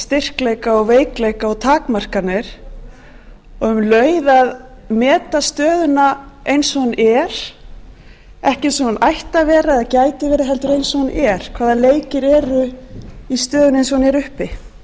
styrkleika og veikleika og takmarkanir og um leið að meta stöðuna eins og hún er ekki eins og hún ætti að vera eða gæti verið heldur eins og hún er hvaða leikir eru í stöðunni eins og hún